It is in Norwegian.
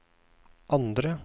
andre